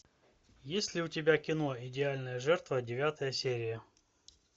есть ли у тебя кино идеальная жертва девятая серия